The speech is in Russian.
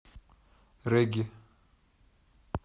регги